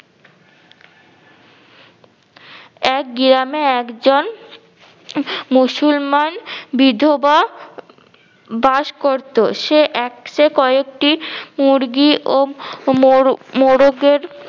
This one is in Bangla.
এক গিরামে একজন মুসলমান বিধবা বাস করতো। সে একসে কয়েকটি মুরগি ও মোরগ মোরগের